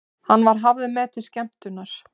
Hann var hafður með til skemmtunar.